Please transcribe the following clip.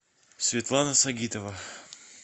светлана сагитова